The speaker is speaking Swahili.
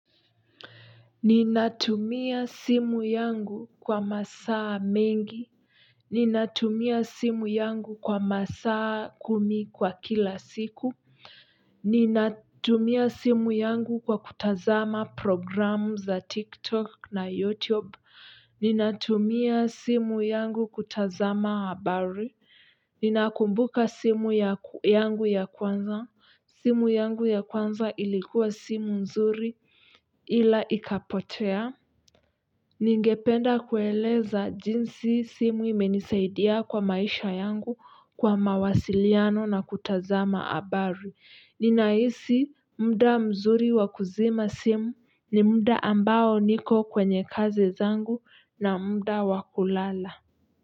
Ninatumia simu yangu kwa masaa mengi. Ninatumia simu yangu kwa masaa kumi kwa kila siku. Ninatumia simu yangu kwa kutazama programunza TikTok na YouTube. Ninatumia simu yangu kutazama habari. Ninakumbuka simu yangu ya kwanza, simu yangu ya kwanza ilikuwa simu nzuri ila ikapotea. Ningependa kueleza jinsi simu imenisaidia kwa maisha yangu kwa mawasiliano na kutazama abari. Ninahisi mda mzuri wa kuzima simu ni mda ambao niko kwenye kazi zangu na mda wa kulala.